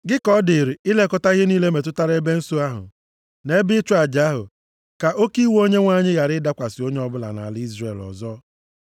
“Gị ka ọ dịrị ilekọta ihe niile metụtara ebe nsọ ahụ, na ebe ịchụ aja ahụ, ka oke iwe Onyenwe anyị ghara ịdakwasị onye ọbụla nʼala Izrel ọzọ.